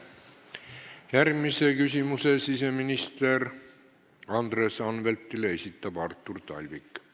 Järgmise küsimuse siseminister Andres Anveltile esitab Artur Talvik.